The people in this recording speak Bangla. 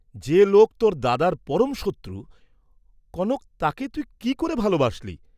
যে লোক তোর দাদার পরম শত্রু, কনক তাকে তুই কি ক'রে ভাল বাসলি!